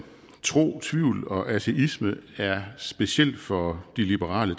tro tvivl og ateisme er speciel for de liberale